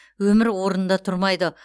өмір орнында тұрмайды